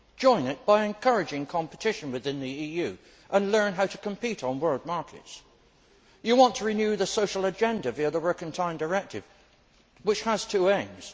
join it by encouraging competition within the EU and learn how to compete on world markets. You want to renew the social agenda via the Working Time Directive, which has two aims.